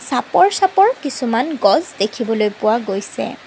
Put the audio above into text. চাপৰ চাপৰ কিছুমান গছ দেখিবলৈ পোৱা গৈছে।